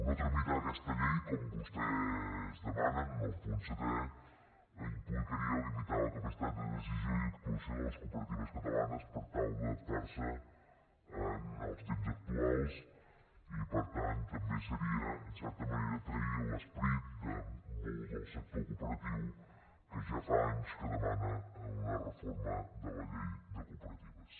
no tramitar aquesta llei com vostès demanen en el punt setè implicaria limitar la capacitat de decisió i actuació de les cooperatives catalanes per tal d’adaptar se als temps actuals i per tant també seria en certa manera trair l’esperit de molt del sector cooperatiu que ja fa anys que demana una reforma de la llei de cooperatives